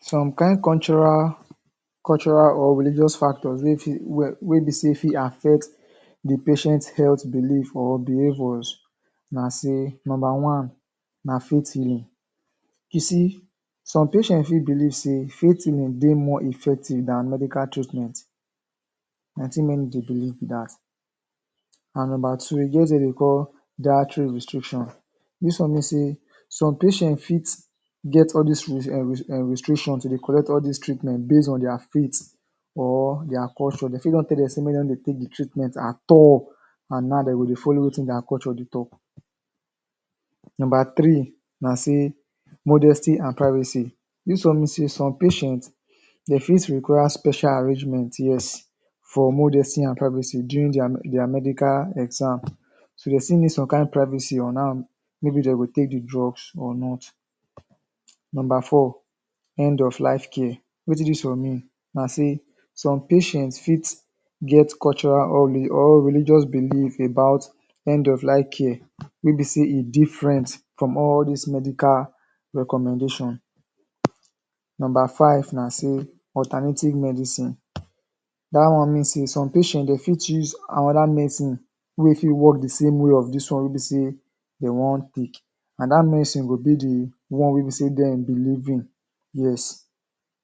Some kain cultural cultural or religious factors wey fit wey um be say fit affect the patient health belief or behaviors na say, number one na faith healing. You see some patient fit believe say faith healing dey more effective than medical treatment, na the thing many dey believe be that, and number two, e get wetin dem dey call dietary restriction. This one means say some patient fit get all this um restrictions to dey collect all these treatment based on their faith or their culture,. Dey fit don tell say make dem no dey take the treatment at all amd now dem go dey follow wetin their culture dey talk. Number three na say modesty and privacy, this one mean say some patient dey fit require special arrangement, yes, for modesty and privacy during their med.. their medical exam. So dey still need some kain privacy on how maybe dey go take the drugs or not. Number four, end of life care, wetin this one mean na say some patient fit get cultural or religious belief about end of life care wey be say e different from all dis medical recommendation. Number five na say alternative medicine, dat one mean say some patient dem fit use another medicine wey fit work the same way of dis one wey be say dey wan take, and dat medicine go be the one way be say dem believe in, yes.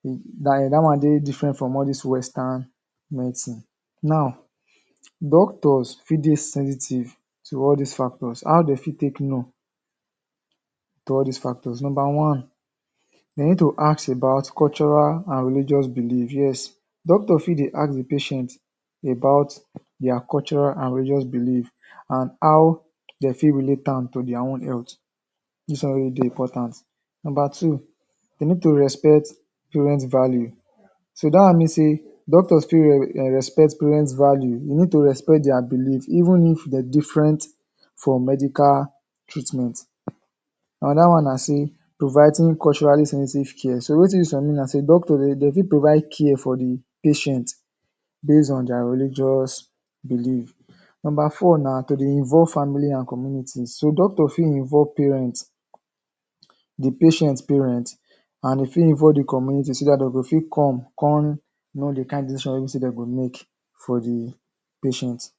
Like, that one dey different from all these western medicine. medicine. Now, doctors fit dey sensitive to all these factors, how dey fit take know to all these factors Number one, they need to ask about cultural and religious belief, yes. Doctor fit dey ask the patient about their cultural and religious belief and how dey fit relate am to their own health, dis one wey dey important. Number two, they need to respect parents value. So that one mean say doctors fit respect parents value, you need to respect their belief even if they different from medical treatment. Another one na say, providing culturally sensitive care. So wetin dis one mean na say doctor dey fit provide care for the patient based on their religious belief. Number four na to dey involve family and communities. So doctor fit involve parents, the patient parents and dey fit involve the community so dat dey go fit come con know the kain decision wey be say dem go make for the patient.